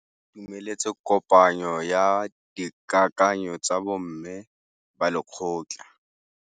Ba itumeletse kôpanyo ya dikakanyô tsa bo mme ba lekgotla.